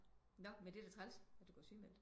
Nå men det er da træls du går sygemeldt